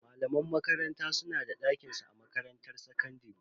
Malaman makaranta su na da dakinsu a makarantar sakandare.